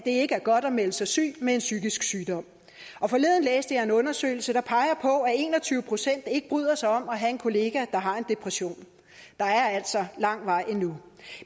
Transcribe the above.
ikke er godt at melde sig syg med en psykisk sygdom og forleden læste jeg en undersøgelse der peger på at en og tyve procent ikke bryder sig om at have en kollega der har en depression der er altså lang vej endnu